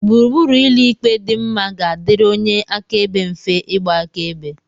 gburugburu ụlọ ikpe dị mma ga-adịrị onye akaebe mfe ịgba akaebe